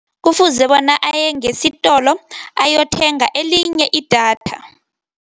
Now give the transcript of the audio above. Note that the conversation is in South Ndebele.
Kufuze bona aye ngesitolo, ayothenga elinye idatha.